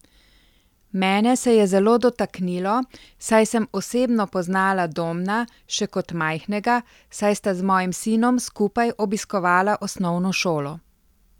Mene se je zelo dotaknilo, saj sem osebno poznala Domna še kot majhnega, saj sta z mojim sinom skupaj obiskovala osnovno šolo.